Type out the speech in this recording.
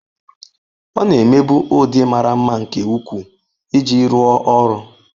Ọ na-emebu ụdị mara mma nke ukwuu iji rụọ ọrụ.